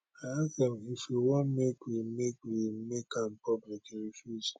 i ask am if e wan make we make we make am public e refuse